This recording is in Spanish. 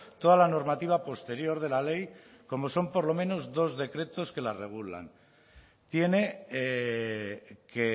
toda la normativa posterior de la ley como son por lo menos dos decretos que la regulan tiene que